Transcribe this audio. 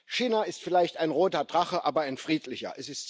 China ist vielleicht ein roter Drache, aber ein friedlicher.